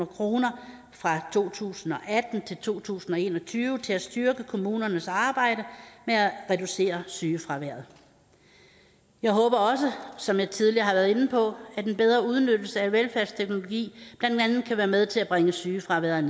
kroner fra to tusind og atten til to tusind og en og tyve til at styrke kommunernes arbejde med at reducere sygefraværet jeg håber også som jeg tidligere har været inde på at den bedre udnyttelse af velfærdsteknologi blandt andet kan være med til at bringe sygefraværet